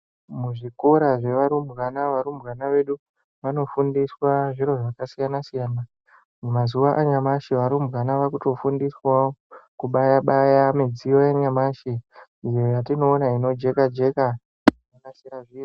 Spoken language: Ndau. Muzvikora zvevarumbwana, varumbwana vedu vanofundiswa zviro zvakasiyana siyana. Mumazuwa anyamashe, varumbwana vakutofundiswa kubaya baya midziyo yanyamashe, iyo yatinowona inojeka jeka.